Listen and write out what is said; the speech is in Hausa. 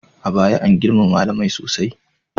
A baya, an girmama malamai sosai.